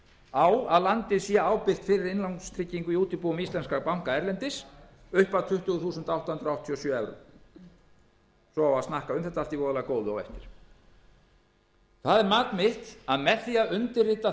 á að landið sé ábyrgt fyrir innlánstryggingu í útibúum íslenskra banka erlendis upp að tuttugu þúsund átta hundruð áttatíu og sjö evrum svo á að snakka um þetta allt í voðalegu góðu á eftir það er mat mitt að með því að undirrita